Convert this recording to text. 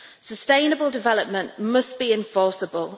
Sustainable development must be enforceable.